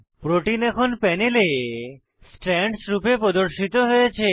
protein এখন প্যানেলে strands রূপে প্রদর্শিত হয়েছে